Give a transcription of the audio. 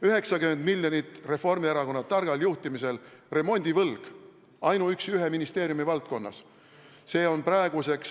90 miljonit oli Reformierakonna targal juhtimisel remondivõlg ainuüksi ühe ministeeriumi valdkonnas!